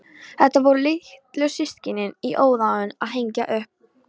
Þetta voru litlu systkinin í óðaönn að hengja upp.